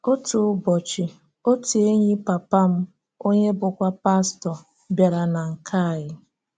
Otu ụbọchị, otu enyi papa m, onye bụ́kwa pastọ, bịàrá na nke ànyí.